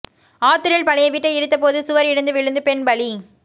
ஆத்தூரில் பழைய வீட்டை இடித்தபோது சுவர் இடிந்து விழுந்து பெண் பலி